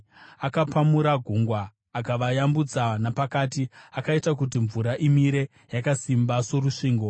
Akapamura gungwa akavayambutsa napakati; akaita kuti mvura imire yakasimba sorusvingo.